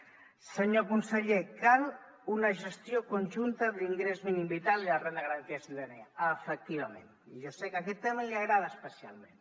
senyor conseller cal una gestió conjunta de l’ingrés mínim vital i la renda garantida de ciutadania efectivament i jo sé que aquest tema li agrada especialment